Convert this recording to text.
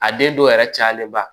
A den dɔw yɛrɛ cayalenba